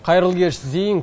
қайырлы кеш зейін